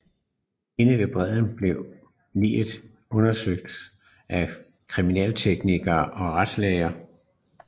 Inde ved bredden blev liget undersøgt af kriminalteknikere og retslæger